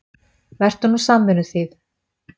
Vertu nú samvinnuþýð.